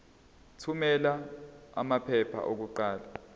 thumela amaphepha okuqala